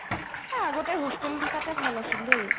এই আগতে hostel তোত থাকোতে ভাল আছিল দেই